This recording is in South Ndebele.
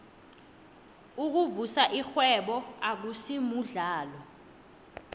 ukuvusa irhwebo akusimuhlalo